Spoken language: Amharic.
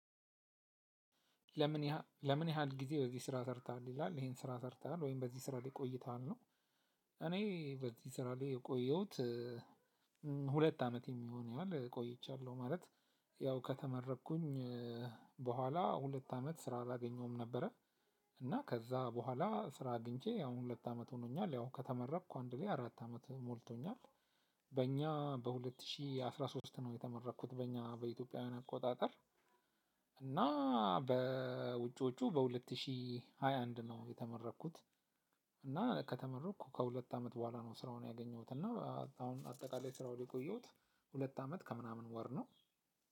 ለምን ለምን ያህል ጊዜ በዚህ ስራ ሰርታለህ ይላል ይሄን ስራ ሰርታለህ ወይም በዚህ ስራ ላይ ቆይተሃል ነው? በዚህ ስራ ላይ የቆየሁት ሁለት አመት የሚሆን ያህል ቆይቻለሁ ማለት። ያው ከተመረኩኝ በኋላ ሁለት አመት ስራ አላገኘሁም ነበረ። እና ከዛ በኋላ ስራ አግቼ አሁን ሁለት አመት ሆኖኛል ያው ከተመረኩ አንድ ላይ አራት አመት ሆኖኛል። በእኛ በሁለት ሺህ አስራ ሶስት ነው የተመረኩት በእኛ በኢትዮጵያውያን አቆጣጠር። እና በውጪዎቹ በሁለት ሺህ ሃያ አንድ ነው የተመረኩት። እና ከተመረኩ ከሁለት አመት በኋላ ነው ስራውን ያገኘሁት እና አሁን አጠቃላይ ስራው ላይ የቆየሁት። ሁለት አመት ከምናምን ወር ነው።